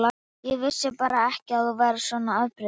Ég vissi bara ekki að þú værir svona afbrýðisamur.